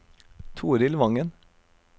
Torild Vangen